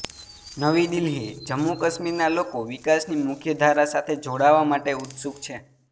નવી દિલ્હીઃ જમ્મુ કાશ્મીરના લોકો વિકાસની મુખ્ય ધારા સાથે જોડાવા માટે ઉત્સુક છે